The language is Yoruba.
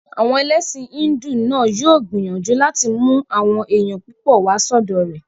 Àwọn ẹlẹ́sìn hídù náà yóò gbìyànjú láti mú àwọn èèyàn púpọ̀ wá sọ́dọ̀ rẹ̀